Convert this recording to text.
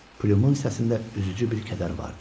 Pümün səsində üzücü bir kədər vardı.